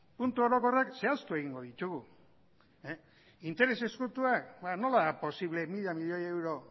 puntu orokorrak zehaztu egingo ditugu interes ezkutuak ba nola da posible mila miloi euro